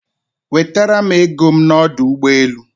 Wetara m ego m n'ọdụ ụgbọelu.